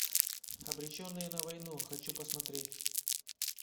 обреченные на войну хочу посмотреть